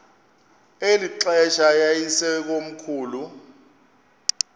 eli xesha yayisekomkhulu